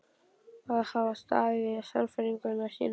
Að hafa staðið við sannfæringu sína.